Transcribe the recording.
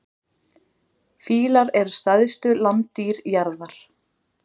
Fílar eru stærstu landdýr jarðar.